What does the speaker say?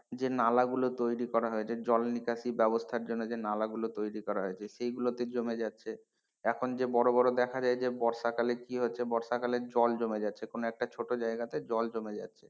যে নালা গুলো তৈরি করা হয়েছে জল নিকাশি ব্যবস্থার জন্য যে নালাগুলো তৈরি করা হয়েছে সেগুলোতে জমে যাচ্ছে এখন যে বড় বড় দেখা যায় যে বর্ষাকালে কি হচ্ছে বর্ষাকালে জল জমে যাচ্ছে কোন একটা ছোট জায়গাতে জল জমে যাচ্ছে,